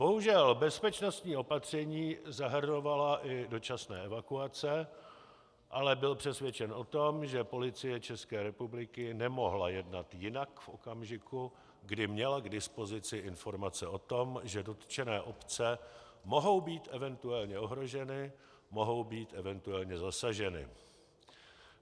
Bohužel bezpečnostní opatření zahrnovala i dočasné evakuace, ale byl přesvědčen o tom, že Policie České republiky nemohla jednat jinak v okamžiku, kdy měla k dispozici informace o tom, že dotčené obce mohou být eventuálně ohroženy, mohou být eventuálně zasaženy.